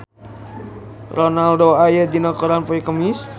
Ronaldo aya dina koran poe Kemis